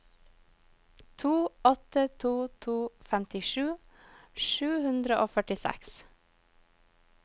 to åtte to to femtisju sju hundre og førtiseks